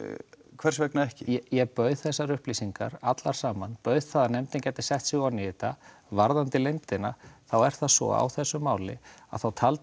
hvers vegna ekki ég bauð þessar upplýsingar allar saman ég bauð það að nefndin setti sig ofan í þetta varðandi leyndina þá er það svo í þessu máli að þá taldi